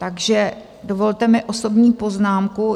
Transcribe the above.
Takže dovolte mi osobní poznámku.